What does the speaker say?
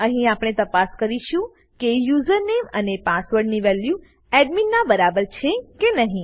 અહીં આપણે તપાસ કરીશું કે યુઝરનેમ યુઝરનેમ અને પાસવર્ડ પાસવર્ડ ની વેલ્યુ એડમિન નાં બરાબર છે કે નહી